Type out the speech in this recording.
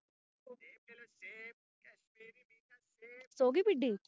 ਸੌਂ ਗਈ ਪੀਡੀ